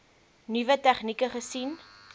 nuwe tegnieke gesien